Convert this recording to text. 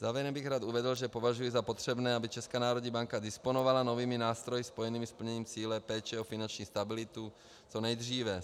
Závěrem bych rád uvedl, že považuji za potřebné, aby Česká národní banka disponovala novými nástroji spojenými s plněním cíle péče o finanční stabilitu co nejdříve.